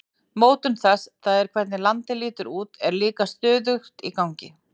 Mótun þess, það er hvernig landið lítur út, er líka stöðugt í gangi.